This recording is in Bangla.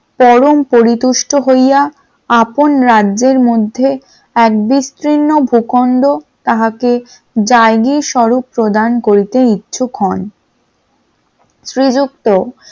চরম পরিত্যুষ্ট হইয়া আপন রাজ্যের মধ্যে এক বিস্তীর্ণ প্রকাণ্ড তাহাকে জায়গীর স্বরূপ প্রদান করিতে ইচ্ছুক হন । শ্রীযুক্ত